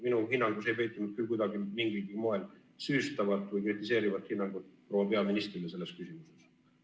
Minu hinnangus ei peitunud küll kuidagi mingilgi moel süüstavat või kritiseerivat hinnangut proua peaministrile selles küsimuses.